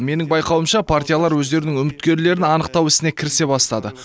менің байқауымша партиялар өздерінің үміткерлерін анықтау ісіне кірісе бастады